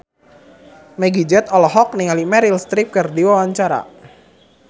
Meggie Z olohok ningali Meryl Streep keur diwawancara